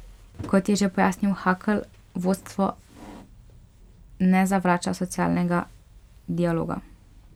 Kot je še pojasnil Hakl, vodstvo ne zavrača socialnega dialoga.